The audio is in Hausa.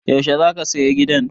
Yaushe za ka saya gidan?